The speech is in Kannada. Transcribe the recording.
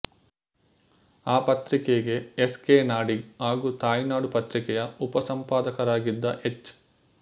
ಆ ಪತ್ರಿಕೆಗೆ ಎಸ್ ಕೆ ನಾಡಿಗ್ ಹಾಗೂ ತಾಯಿನಾಡು ಪತ್ರಿಕೆಯ ಉಪಸಂಪಾದಕರಾಗಿದ್ದ ಹೆಚ್